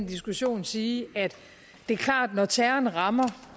diskussion sige at det er klart når terroren rammer